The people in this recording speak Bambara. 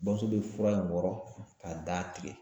Bamuso be fura in wɔrɔ k'a da tigɛ